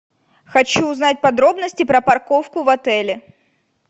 хочу узнать подробности про парковку в отеле